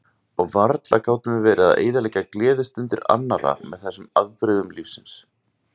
Og varla gátum við verið að eyðileggja gleðistundir annarra með þessum afbrigðum lífsins.